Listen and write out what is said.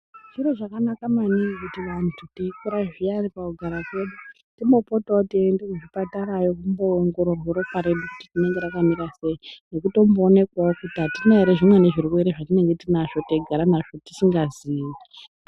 Zviro zvakanaka maningi kuti vantu teikura zviyani pakugara kwedu timbopotawo teienda kuzvipatarayo kumboongororwa ropa redu kuti rinenge rakamira sei nekutomboonekwawo kuti atina ere zvimweni zvirwere zvatinenge tinazvo teigara nazvo tisingazii.